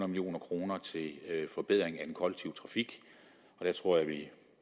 million kroner til en forbedring af den kollektive trafik det tror jeg at